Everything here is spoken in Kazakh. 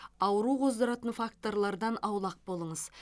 ауру қоздыратын факторлардан аулақ болыңыз